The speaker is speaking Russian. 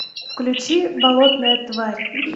включи болотная тварь